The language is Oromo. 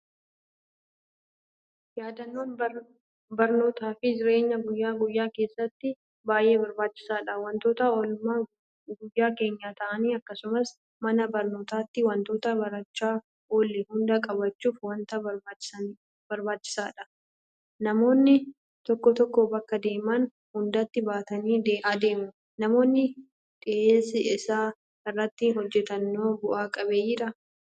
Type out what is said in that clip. Yaadannoon barnootaafi jireenya guyyaa guyyaa keessatti baay'ee barbaachisaadha. Waantota oolmaa guyyaa keenyaa ta'an; akkasumas mana barnootaatti waantota barachaa oolle hunda qabachuuf waanta barbaachisaadha. Namoonni tokko tokko bakka deeman hundatti baatanii adeemu. Namoonni dhiyeessii isaa irratti hojjetanoo bu'a qabeeyyiidhaa?